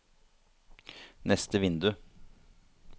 neste vindu